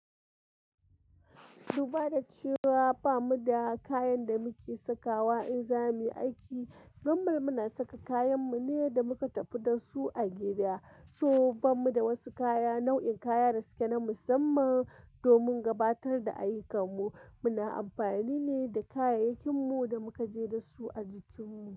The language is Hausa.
Dubara cewa bamu da kayan da muke sakawa in za mu yi aiki, damban muna saka kayan mu ne da muka tafi da su a gida. So bamu da wasu kaya, nau'in kaya da suke na musamman domin gabatar da ayyukan mu. Muna amfani ne da kayayyakin mu da muka je da su a jikin mu.